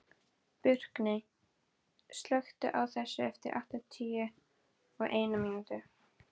Burkney, slökktu á þessu eftir áttatíu og eina mínútur.